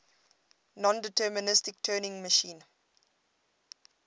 nondeterministic turing machine